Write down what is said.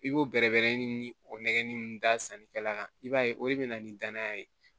I b'o bɛrɛbɛrɛ ni o nɛgɛnni da sannikɛla i b'a ye o de bɛ na ni danaya ye